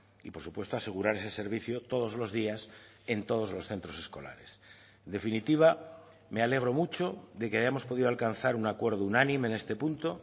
y por supuesto asegurar ese servicio todos los días en todos los centros escolares en definitiva me alegro mucho de que hayamos podido alcanzar un acuerdo unánime en este punto